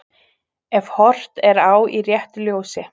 Ef horft er á í réttu ljósi.